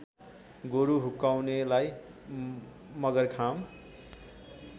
गोरु हुक्काउनेलाई मगरखाम